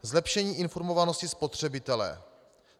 Zlepšení informovanosti spotřebitele.